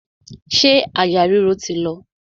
Ṣé àyà ríro ti lọ?